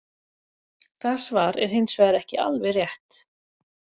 Það svar er hins vegar ekki alveg rétt.